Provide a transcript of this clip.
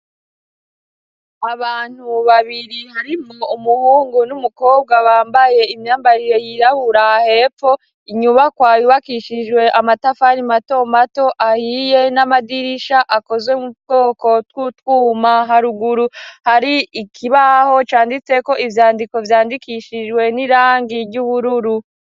Abantu babiri harimwo umuhungu n'umukobwa bambaye imyambarire yirabura hepfo inyubako yubakishijwe amatafari mato mato ahiye n'amadirisha akozwe mu twoko tw'utwuma haruguru hari ikibaho canditseko ivyandiko vyandikishijwe n'irangi ry'ubururu.